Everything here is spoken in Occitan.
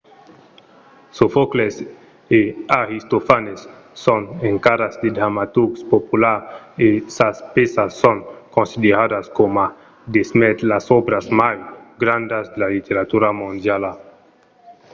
sofòcles e aristofanes son encara de dramaturgs populars e sas pèças son consideradas coma demest las òbras mai grandas de la literatura mondiala